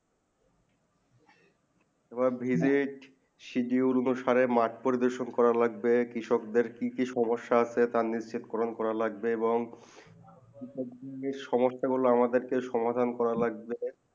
এবং বিঁধে সাহেদুল মাঠ প্রদেশন করা লাগবে কৃষক দেড় কি কি সমস্যা আছে তার নিশ্চিত কোরানকোর লাগবে এবং কৃষক দেড় সমস্যা গুলু কে সমাধান করা আমাদের লাগবে